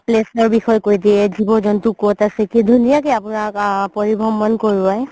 place ৰ বিষয়ে কই দিয়ে জীৱ জন্তু ক'ত আছে কি ধুনীয়া কে আপুনাক পৰিভ্ৰমণ কৰোৱাই